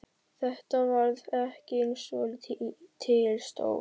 Þetta varð ekki eins og til stóð.